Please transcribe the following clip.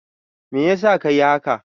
Meyasa ka yi haka?